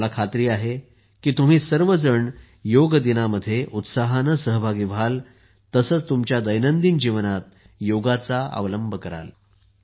मला खात्री आहे की तुम्ही सर्वजण योग दिनामध्ये उत्साहाने सहभागी व्हाल तसेच तुमच्या दैनंदिन जीवनात योगाचा अवलंब कराल